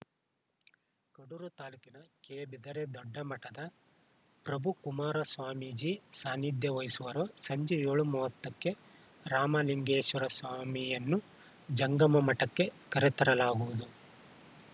ಕಡೂರು ತಾಲೂಕಿನ ಕೆಬಿದರೆ ದೊಡ್ಡಮಠದ ಪ್ರಭುಕುಮಾರ ಸ್ವಾಮೀಜಿ ಸಾನಿಧ್ಯ ವಹಿಸುವರು ಸಂಜೆ ಏಳು ಮೂವತ್ತಕ್ಕೆ ರಾಮಲಿಂಗೇಶ್ವರಸ್ವಾಮಿಯನ್ನು ಜಂಗಮ ಮಠಕ್ಕೆ ಕರೆತರಲಾಗುವುದು